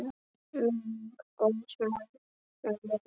Minning góðs manns mun lifa.